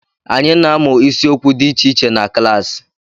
Anyị na-amụ isiokwu dị iche iche na klaasi.